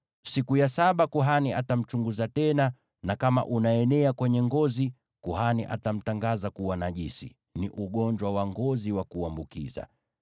Siku ya saba kuhani atamchunguza tena, na kama unaenea kwenye ngozi, kuhani atamtangaza kuwa najisi; ni ugonjwa wa ngozi wa kuambukiza.